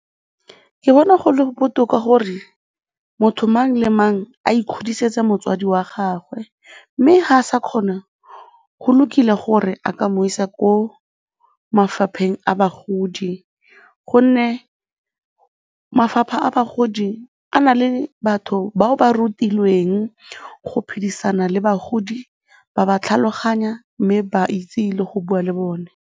Ke bona go le botoka gore motho mang le mang a ikgodisetsa motswadi wa gagwe mme ga a sa kgona, go lokile gore a ka mo isa ko mafapheng a bagodi gonne mafapha a bagodi a na le batho bao ba rutilweng go phedisana le bagodi ba ba tlhaloganya mme ba itse le go bua le bone.